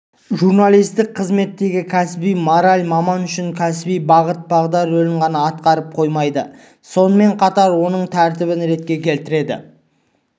журналистік қызметтегі кәсіби мораль маман үшін кәсіби бағыт-бағдар рөлін ғана атқарып қоймайды сонымен қатар оның тәртібін ретке келтіреді